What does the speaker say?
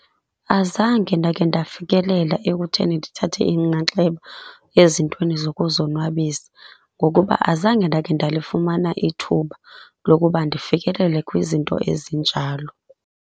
Azange ndakhe ndafikelela ekutheni ndithathe inxaxheba ezintweni zokuzonwabisa, ngokuba azange ndakhe ndalifumana ithuba lokuba ndifikelele kwizinto ezinjalo.